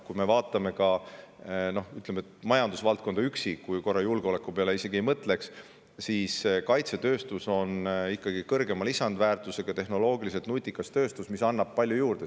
Ütleme, majandusvaldkonnas üksi, kui me korra julgeoleku peale isegi ei mõtle, on kaitsetööstus ikkagi kõrgema lisandväärtusega ja tehnoloogiliselt nutikas tööstus, mis annab palju juurde.